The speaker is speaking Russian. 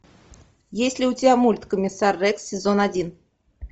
есть ли у тебя мульт комиссар рекс сезон один